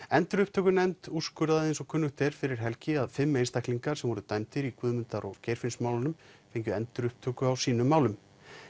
endurupptökunefnd úrskurðaði fyrir helgi að fimm einstaklingar sem voru dæmdir í Guðmundar og Geirfinnsmálum fengju endurupptöku á sínum málum